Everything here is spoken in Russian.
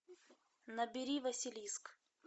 набери василиск